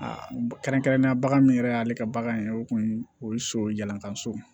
Aa kɛrɛnkɛrɛnnenya bagan min yɛrɛ y'ale ka bagan ye o kun o ye so jalantan so ye